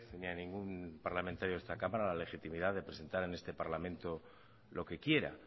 ni a ningún parlamentario de esta cámara la legitimidad de presentar en este parlamento lo que quiera